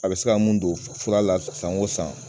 A be se ka mun don fura la san o san